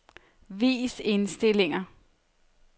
Vis indstillinger.